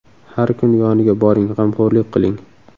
Har kuni yoniga boring, g‘amxo‘rlik qiling.